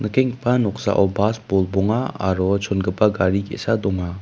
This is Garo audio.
noksao bas bolbonga aro chongipa gari ge·sa donga.